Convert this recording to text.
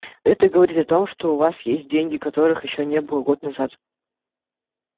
это говорит о том что у вас есть деньги которых ещё не было год назад